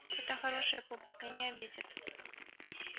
эта хорошая публика не обидит